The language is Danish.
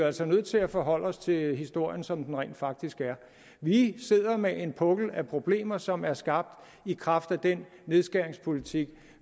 altså nødt til at forholde os til historien som den rent faktisk er vi sidder med en pukkel af problemer som er skabt i kraft af den nedskæringspolitik